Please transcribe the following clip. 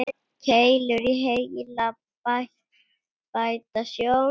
Keilur í heila bæta sjón.